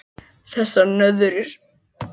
Þessar nöðrur!